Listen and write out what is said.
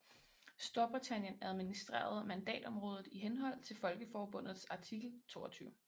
Storbritannien administrerede mandatområdet i henhold til Folkeforbundets artikel 22